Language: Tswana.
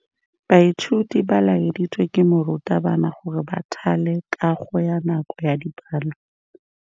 Baithuti ba laeditswe ke morutabana gore ba thale kagô ka nako ya dipalô.